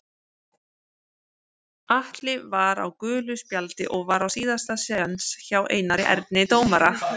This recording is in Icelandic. Atli var á gulu spjaldi og var á síðasta séns hjá Einari Erni dómara.